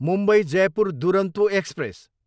Mumbai, Jaipur Duronto express